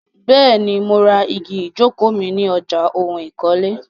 Bẹ́ẹ̀ni, mo ra igi ìjókòó mi Ni ọjà oun ìkọ́lé.